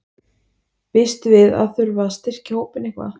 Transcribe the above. Býstu við að þurfa að styrkja hópinn eitthvað?